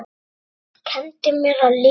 Hann kenndi mér að lesa.